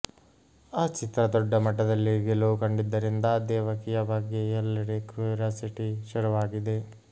ಆ ಚಿತ್ರ ದೊಡ್ಡ ಮಟ್ಟದಲ್ಲಿ ಗೆಲುವು ಕಂಡಿದ್ದರಿಂದ ದೇವಕಿಯ ಬಗ್ಗೆ ಎಲ್ಲೆಡೆ ಕ್ಯೂರಿಯಾಸಿಟಿ ಶುರುವಾಗಿದೆ